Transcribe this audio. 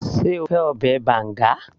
sé o fẹ́ ọbẹ̀ banga